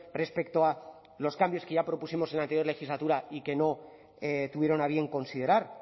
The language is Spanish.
respecto a los cambios que ya propusimos en la anterior legislatura y que no tuvieron a bien considerar